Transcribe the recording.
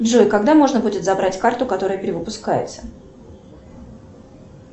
джой когда можно будет забрать карту которая перевыпускается